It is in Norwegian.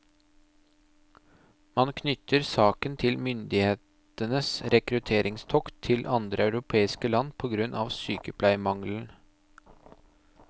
Man knytter saken til myndighetenes rekrutteringstokt til andre europeiske land på grunn av sykepleiermangelen.